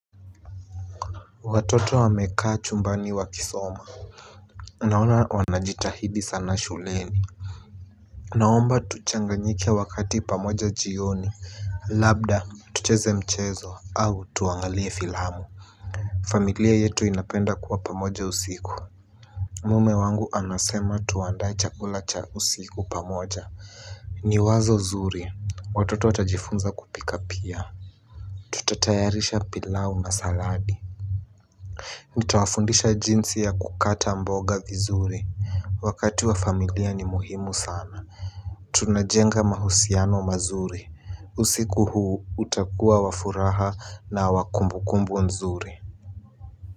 Watoto wamekaa chumbani wakisoma. Naona wanajitahidi sana shuleni. Naomba tuchanganyike wakati pamoja jioni. Labda tucheze mchezo au tuangalie filamu. Familia yetu inapenda kuwa pamoja usiku. Mume wangu anasema tuandae chakula cha usiku pamoja. Ni wazo zuri. Watoto watajifunza kupika pia Tutatayarisha pilau na saladi. Nitawafundisha jinsi ya kukata mboga vizuri. Wakati wa familia ni muhimu sana. Tunajenga mahusiano mazuri. Usiku huu utakua wa furaha na wa kumbukumbu nzuri.